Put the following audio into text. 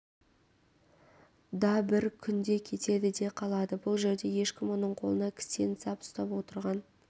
да бір күнде кетеді де қалады бұл жерде ешкім оның қолына кісен сап ұстап отырған